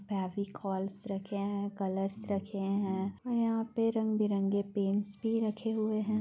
फेविकोल्स रखे है कलरस भी रखे है और यह पे रंग-बिरंगी पेंट्स भी रखे हुए है।